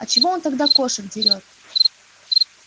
а чего он тогда кошек дерёт